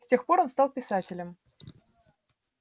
с тех пор он стал писателем